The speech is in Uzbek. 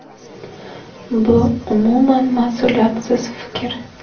“Bu umuman mas’uliyatsiz fikr.